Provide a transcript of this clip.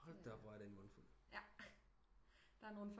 Hold da op hvor er det en mundfuld